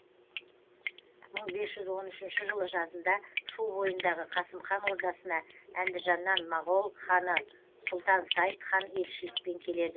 мың бес жүз он үшінші жылы жазында шу бойындағы қасым хан ордасына әндіжаннан моғол ханы сұлтан сайд хан елшілікпен келеді